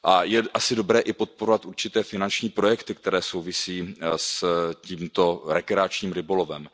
Je asi dobré i podporovat určité finanční projekty, které souvisí s tímto rekreačním rybolovem.